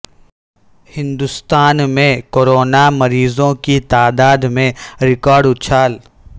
ہندوستان میں کورونا مریضوں کی تعداد میں ریکارڈ اچھال